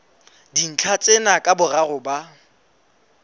dintlha tsena ka boraro ba